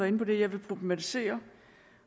inde på det jeg vil problematisere